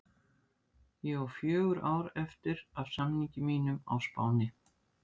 Ég á fjögur ár eftir af samningi mínum á Spáni.